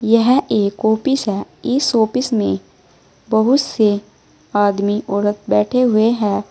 यह एक ऑफिस है इस ऑफिस में बहुत से आदमी औरत बैठे हुए हैं।